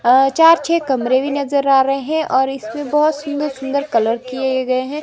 चार छह कमरे भी नजर आ रहे हैं और इसमें बहुत सुंदर सुंदर कलर किए गए हैं।